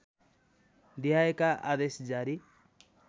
देहायका आदेश जारी